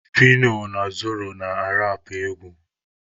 Fino na Zoro na-arapụ egwu.